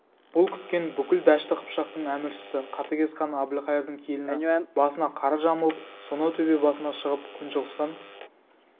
бұл күткен бүкіл дәшті қыпшақтың әміршісі қатігез хан әбілқайырдың келіні басына қара жамылып сонау төбе басына шығып күншығыстан